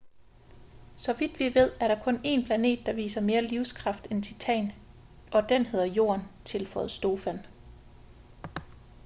så vidt vi ved er der kun en planet der viser mere livskraft end titan og den hedder jorden tilføjede stofan